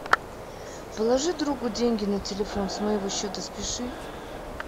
положи другу деньги на телефон с моего счета спиши